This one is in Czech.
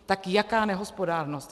Tak jaká nehospodárnost?